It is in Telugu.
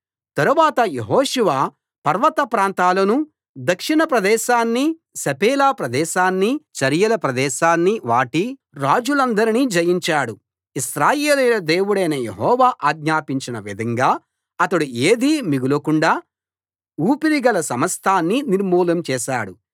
తరువాత యెహోషువ పర్వత ప్రాంతాలనూ దక్షిణ ప్రదేశాన్నీ షెఫేలా ప్రదేశాన్నీ చరియల ప్రదేశాన్నీ వాటి రాజులందరినీ జయించాడు ఇశ్రాయేలీయుల దేవుడైన యెహోవా ఆజ్ఞాపించిన విధంగా అతడు ఏదీ మిగలకుండా ఊపిరిగల సమస్తాన్నీ నిర్మూలం చేశాడు